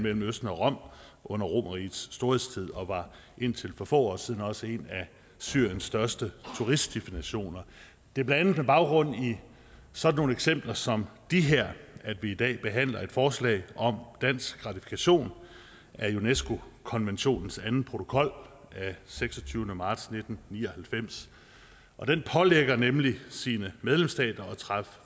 mellem østen og rom under romerrigets storhedstid og var indtil for få år siden også en af syriens største turistdestinationer det er blandt andet på baggrund af sådan nogle eksempler som de her at vi i dag behandler et forslag om dansk ratifikation af unesco konventionens anden protokol af seksogtyvende marts nitten ni og halvfems den pålægger nemlig sine medlemsstater at træffe